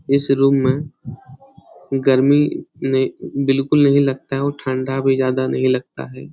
इस रूम में गर्मी बिलकुल नहीं लगता है और ठंडा भी ज्यादा नहीं लगता है ।